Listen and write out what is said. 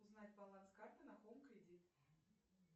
узнать баланс карты на хоум кредит